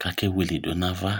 kʋ akewilidʋ n'ava